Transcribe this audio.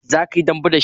Za ka yi dambe da shi?